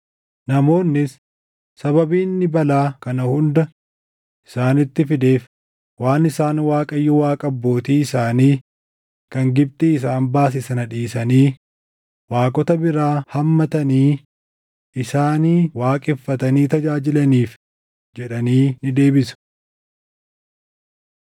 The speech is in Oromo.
Namoonnis, ‘Sababiin inni balaa kana hunda isaanitti fideef waan isaan Waaqayyo Waaqa abbootii isaanii kan Gibxii isaan baase sana dhiisanii, waaqota biraa hammatanii, isaanin waaqeffatanii tajaajilaniif’ jedhanii ni deebisu.”